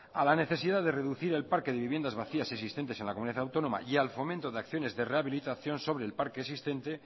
a la necesidad de reducir el parque de viviendas vacías existentes en la comunidad autónoma y al fomento de acciones de rehabilitación sobre el parque existente